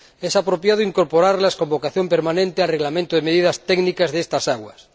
Es apropiado incorporarlas, con vocación permanente, al Reglamento de medidas técnicas de estas aguas.